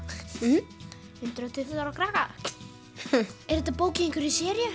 mhm hundrað og tuttugu ára krakka er þetta bók í einhverri seríu